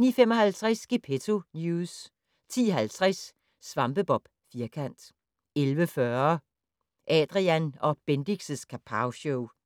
09:55: Gepetto News 10:50: SvampeBob Firkant 11:40: Adrian & Bendix' Kapowshow